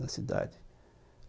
na cidade.